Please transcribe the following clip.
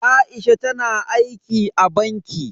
Aisha tana aiki a banki.